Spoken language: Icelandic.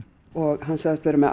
sagðist vera með